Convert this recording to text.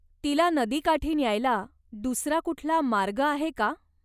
तिला नदीकाठी न्यायला दूसरा कुठला मार्ग आहे का?